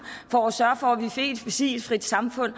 for at sørge for at vi fik et fossilfrit samfund